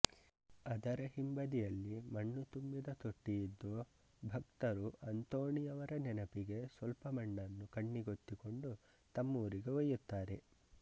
ಅದರ ಹಿಂಬದಿಯಲ್ಲಿ ಮಣ್ಣು ತುಂಬಿದ ತೊಟ್ಟಿಯಿದ್ದು ಭಕ್ತರು ಅಂತೋಣಿಯವರ ನೆನಪಿಗೆ ಸ್ವಲ್ಪ ಮಣ್ಣನ್ನು ಕಣ್ಣಿಗೊತ್ತಿಕೊಂಡು ತಮ್ಮೂರಿಗೆ ಒಯ್ಯುತ್ತಾರೆ